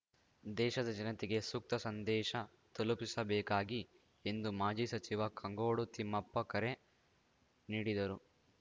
ದೇಶದ ಜನತೆಗೆ ಸೂಕ್ತ ಸಂದೇಶ ತಲುಪಿಸಬೇಕಾಗಿ ಎಂದು ಮಾಜಿ ಸಚಿವ ಕಾಂಗೋಡು ತಿಮ್ಮಪ್ಪ ಕರೆ ನೀಡಿದರು